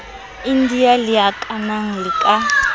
india le akanang le la